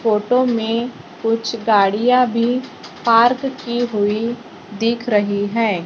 Photo में कुछ गाड़ियां भी पार्क की हुई दिख रही हैं।